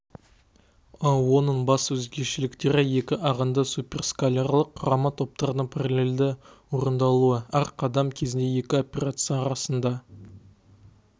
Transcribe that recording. оның басты өзгешеліктері екі ағынды суперскалярлық құрамы топтардың паралельді орындалуы әр қадам кезінде екі операция арасында